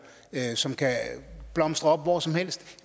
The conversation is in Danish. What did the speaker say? som kan blomstre op hvor som helst